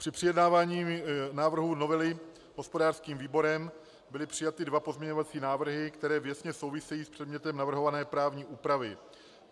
Při projednávání návrhu novely hospodářským výborem byly přijaty dva pozměňovací návrhy, které věcně souvisejí s předmětem navrhované právní úpravy.